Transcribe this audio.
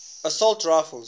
assault rifles